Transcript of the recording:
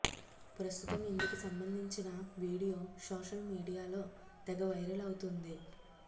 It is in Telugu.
ప్రస్తుతం ఇందుకు సబంధించిన వీడియో సోషల్ మీడియాలో తెగ వైరలవుతోంది